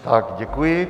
Tak děkuji.